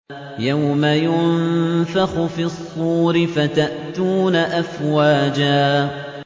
يَوْمَ يُنفَخُ فِي الصُّورِ فَتَأْتُونَ أَفْوَاجًا